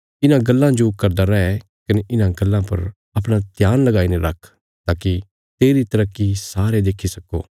इन्हां गल्लां जो करदा रै कने इन्हां गल्लां पर अपणा ध्यान लगाईने रख ताकि तेरी तरक्की सारे देखी सक्को